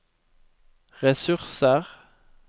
ressurser